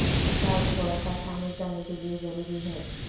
کا ایک تھوڑا سا شامل کرنے کے لئے ضروری ہے